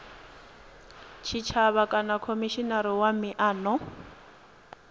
tshitshavha kana khomishinari wa miano